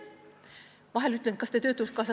Vahel küsin, kas nad töötukassas käisid.